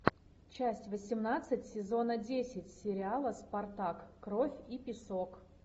часть восемнадцать сезона десять сериала спартак кровь и песок